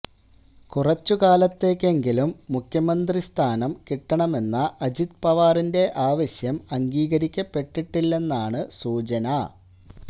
കുറച്ചു കാലത്തേക്കെങ്കിലും മുഖ്യമന്ത്രിസ്ഥാനം കിട്ടണമെന്ന അജിത് പവാറിന്റെ ആവശ്യം അംഗീകരിക്കപ്പെട്ടില്ലെന്നാണു സൂചന